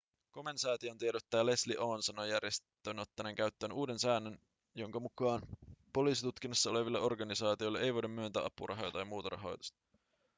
komen-säätiön tiedottaja leslie aun sanoi järjestön ottaneen käyttöön uuden säännön jonka mukaan poliisitutkinnassa oleville organisaatioille ei voida myöntää apurahoja tai muuta rahoitusta